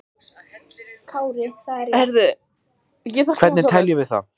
Hvernig teljum við það?